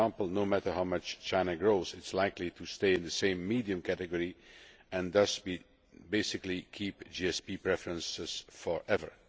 For example, no mater how much China grows it is likely to stay in the same medium' category and thus, basically, keep GSP preferences forever.